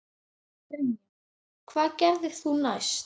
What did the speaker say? Brynja: Hvað gerðir þú næst?